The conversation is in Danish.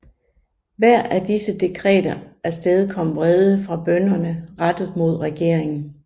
Hver af disse dekreter afstedkom vrede fra bønderne rettet mod regeringen